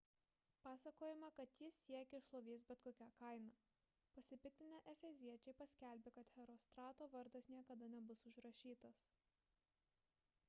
pasakojama kad jis siekė šlovės bet kokia kaina pasipiktinę efeziečiai paskelbė kad herostrato vardas niekada nebus užrašytas